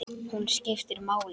Hún skiptir máli.